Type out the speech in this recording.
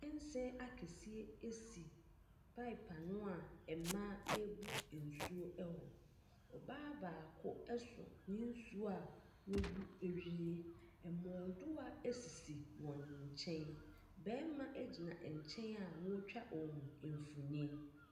Kyɛnsee akɛseɛ si pipe ano a mmaa rebu nsuo wɔ. Ɔbaa baako so ne nsuo a wɔabu awie. Mmrodewa sisi wɔn nkyɛn. Barima gyina nkyɛn a ɔretwa wɔn mfonin.